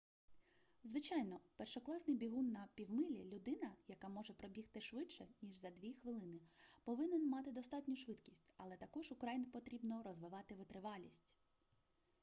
звичайно першокласний бігун на півмилі людина яка може пробігти швидше ніж за дві хвилини повинен мати достатню швидкість але також украй потрібно розвивати витривалість